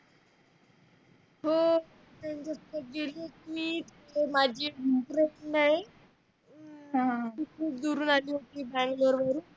हो ती खुप दुरुन आली होती बँगलोर वरुन